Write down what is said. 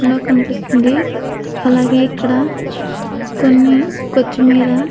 -- లో కనిపిస్తుంది. అలాగే ఇక్కడ కొన్ని --